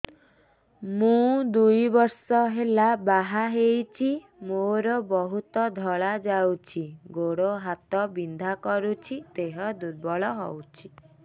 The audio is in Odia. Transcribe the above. ମୁ ଦୁଇ ବର୍ଷ ହେଲା ବାହା ହେଇଛି ମୋର ବହୁତ ଧଳା ଯାଉଛି ଗୋଡ଼ ହାତ ବିନ୍ଧା କରୁଛି ଦେହ ଦୁର୍ବଳ ହଉଛି